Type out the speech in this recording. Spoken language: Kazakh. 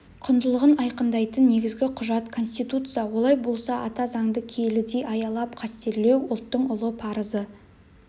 құндылығын айқындайтын негізгі құжат конституция олай болса ата заңды киелідей аялап қастерлеу ұлттың ұлы парызы